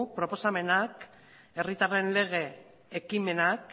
proposamena herritarren lege ekimenak